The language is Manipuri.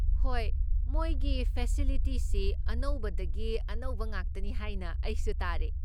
ꯍꯣꯏ, ꯃꯣꯏꯒꯤ ꯐꯦꯁꯤꯂꯤꯇꯤꯁꯤ ꯑꯅꯧꯕꯗꯒꯤ ꯑꯅꯧꯕ ꯉꯥꯛꯇꯅꯤ ꯍꯥꯏꯅ ꯑꯩꯁꯨ ꯇꯥꯔꯦ꯫